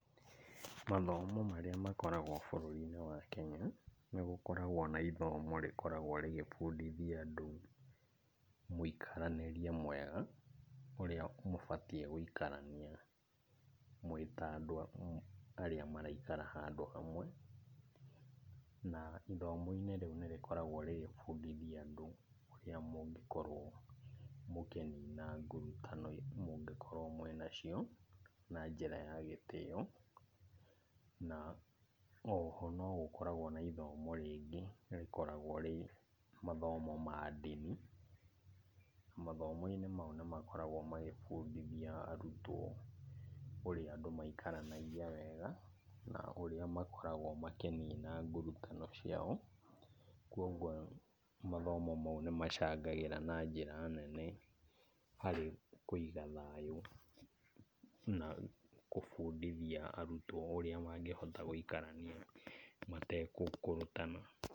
Mathomo marĩa makoragwo bũrũrinĩ wa Kenya, nĩgũkoragwo na ithomo rĩkoragwo rĩgĩbundithia andũ mũikaranĩrie mwega, ũrĩa mũbatiĩ gũikarania mwĩ ta andũ arĩa maraikara handũ hamwe. Na ithomo-inĩ rĩũ nĩrĩkoragwo rĩgĩbundithia andũ ũrĩa mũngĩkorwo mũkĩnina ngurutano mũngĩkorwo mwĩ nacio, na njĩra ya gĩtĩo. Na oho nogũkoragwo na ithomo rĩngĩ rĩkoragwo rĩ mathomo ma Ndini. Mathomo-inĩ mau nĩmakoragwo magĩbundithia arutwo ũrĩa andũ maikaranagia wega, na ũrĩa makoragwo makĩnina ngurutano ciao. Koguo mathomo mau nĩmacangagĩra na njĩra nene harĩ kuiga thayũ na kũbundithia arutwo ũrĩa mangĩhota gũikarania matekũkũrũtana.